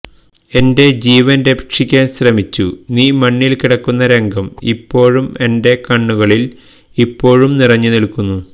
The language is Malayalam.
എന്റെ ജീവന് രക്ഷിക്കാന് ശ്രമിച്ചു നീ മണ്ണില് കിടക്കുന്ന രംഗം ഇപ്പോഴും എന്റെ കണ്ണുകളില് ഇപ്പോഴും നിറഞ്ഞു നില്ക്കുന്നു